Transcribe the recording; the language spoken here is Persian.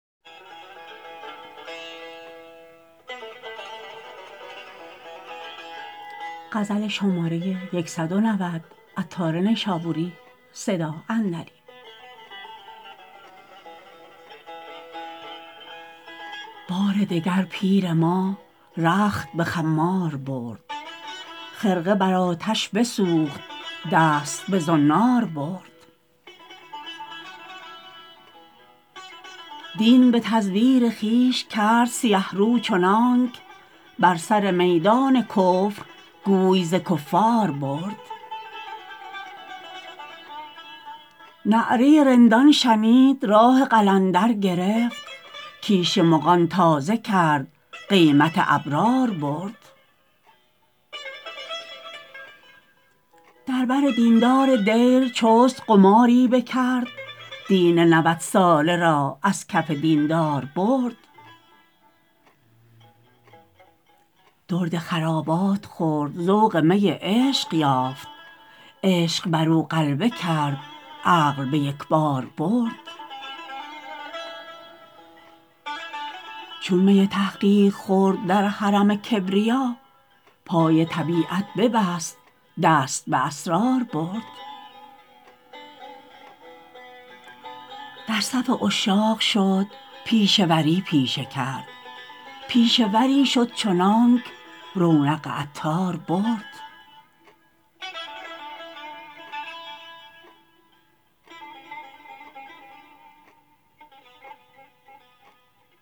بار دگر پیر ما رخت به خمار برد خرقه بر آتش بسوخت دست به زنار برد دین به تزویر خویش کرد سیه رو چنانک بر سر میدان کفر گوی ز کفار برد نعره رندان شنید راه قلندر گرفت کیش مغان تازه کرد قیمت ابرار برد در بر دیندار دیر چست قماری بکرد دین نود ساله را از کف دیندار برد درد خرابات خورد ذوق می عشق یافت عشق برو غلبه کرد عقل به یکبار برد چون می تحقیق خورد در حرم کبریا پای طبیعت ببست دست به اسرار برد در صف عشاق شد پیشه وری پیشه کرد پیشه وری شد چنانک رونق عطار برد